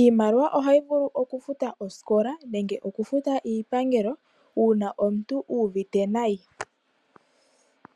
Iimaliwa ohayi vulu okufuta oosikola, nenge okufuta iipangelo uuna omuntu uuvite nayi.